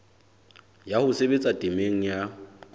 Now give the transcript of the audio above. ya ho sebetsa temeng ya